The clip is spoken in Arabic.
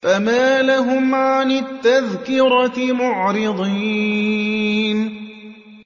فَمَا لَهُمْ عَنِ التَّذْكِرَةِ مُعْرِضِينَ